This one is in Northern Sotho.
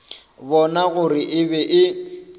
bona gore e be e